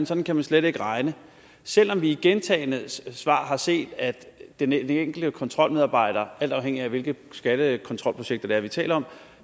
sådan kan man slet ikke regne selv om vi i gentagne svar har set at den enkelte kontrolmedarbejder alt afhængigt af hvilke skattekontrolprojekter det er vi taler om